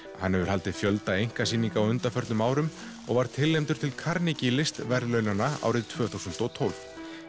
hann hefur haldið fjölda einkasýninga á undanförnum árum og var tilnefndur til Carnegie listaverðlaunanna árið tvö þúsund og tólf